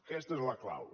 aquesta és la clau